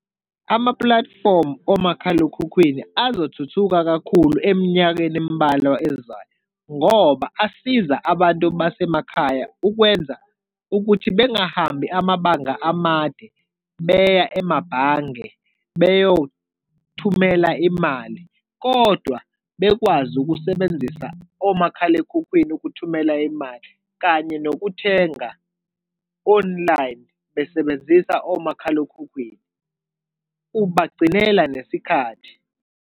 Amapulatifomu omakhalekhukhwini azothuthuka kakhulu eminyakeni emibalwa ezayo, ngoba asiza abantu basemakhaya ukwenza ukuthi bengahambi amabanga amade beya emabhange beyothumela imali, kodwa bekwazi ukusebenzisa omakhalekhukhwini ukuthumela imali, kanye nokuthenga online besebenzisa omakhalekhukhwini. Ubagcinela nesikhathi.